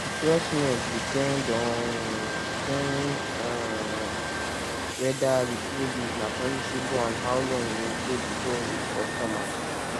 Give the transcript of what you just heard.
the freshness depend on depend on weda di produce na perishable and how long e take before e reach customers